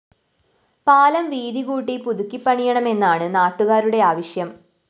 പാലം വീതി കൂട്ടി പുതുക്കി പണിയണമെന്നാണ് നാട്ടുകാരുടെ ആവശ്യം